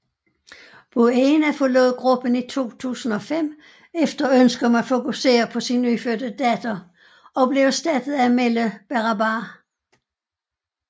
Buena forlod gruppen i 2005 efter ønske om at fokusere på sin nyfødte datter og blev erstattet af Amelle Berrabah